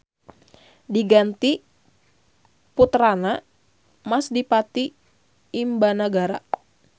Diganti puterana Mas Dipati Imbanagara.